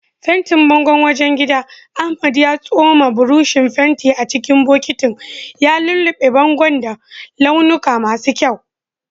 Fentin bangon wajen gidan, Ahmad ya tsoma burushin fentin a cikin bokitin, ya lullube bangon da launuka masu kyau.